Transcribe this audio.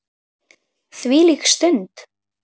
Þvílík stund!